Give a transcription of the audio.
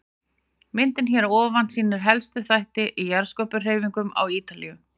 Myndin hér að ofan sýnir helstu þætti í jarðskorpuhreyfingum á Ítalíu.